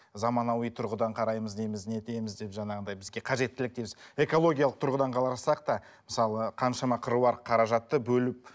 заманауи тұрғыдан қараймыз дейміз не дейміз деп жаңағындай бізге қажеттілік дейміз экологиялық тұрғыдан қарасақ та мысалы қаншама қыруар қаражатты бөліп